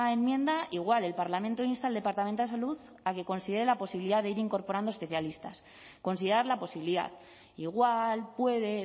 enmienda igual el parlamento insta al departamento de salud a que considere la posibilidad de ir incorporando especialistas considerar la posibilidad igual puede